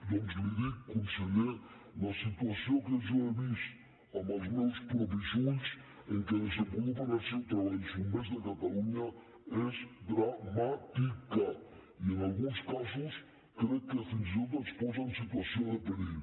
doncs li dic conseller la situació que jo he vist amb els meus propis ulls en què desenvolupen el seu treball els bombers de catalunya és dramàtica i en alguns casos crec que fins i tot els posa en situació de perill